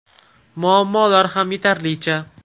Muammolar ham yetarlicha.